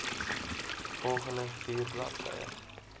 volgende vier bladsye